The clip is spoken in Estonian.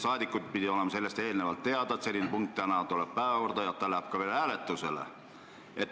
Saadikud oleks pidanud eelnevalt teadlikud olema, et selline punkt tuleb täna päevakorda ja otsus läheb ka veel hääletusele.